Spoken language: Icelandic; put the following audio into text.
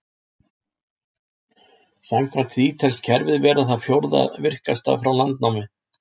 Samkvæmt því telst kerfið vera það fjórða virkasta frá landnámi.